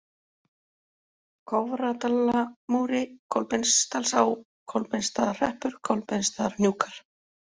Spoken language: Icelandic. Kofradalamúli, Kolbeinsdalsá, Kolbeinsstaðahreppur, Kolbeinsstaðarhnjúkar